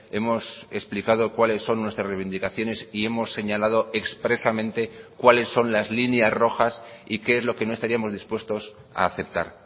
hemos explicado cuáles son nuestras reivindicaciones y hemos señalado expresamente cuáles son las líneas rojas y qué es lo que no estaríamos dispuestos a aceptar